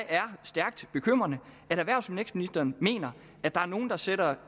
er stærkt bekymrende at erhvervs og vækstministeren mener at der er nogle der sætter